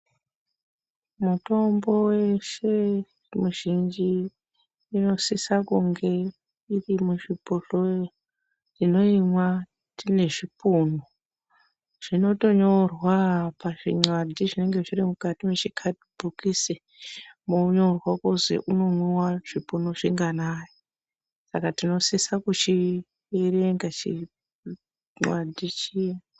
Mitombo yeshe mizhinji inosisa kunge iri muzvibhotoro. Tinoimwa tine zvipunu zvinotonyora pazvi nxadhi zvinenge zviri muchikadhibhokisi monyorwa kuzi unomwiwa zvipunu zvinganayi. Saka tinosise kuchierenga chinxadhi chiya.